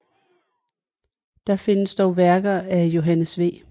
Der findes dog værker af Johannes V